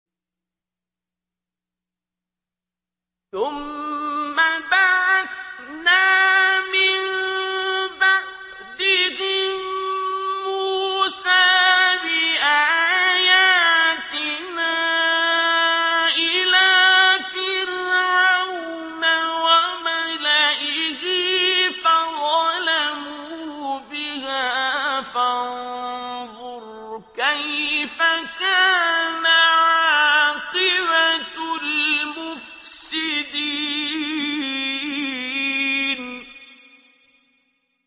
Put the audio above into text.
ثُمَّ بَعَثْنَا مِن بَعْدِهِم مُّوسَىٰ بِآيَاتِنَا إِلَىٰ فِرْعَوْنَ وَمَلَئِهِ فَظَلَمُوا بِهَا ۖ فَانظُرْ كَيْفَ كَانَ عَاقِبَةُ الْمُفْسِدِينَ